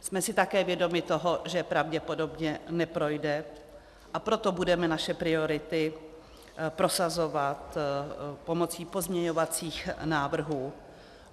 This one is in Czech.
Jsme si také vědomi toho, že pravděpodobně neprojde, a proto budeme naše priority prosazovat pomocí pozměňovacích návrhů.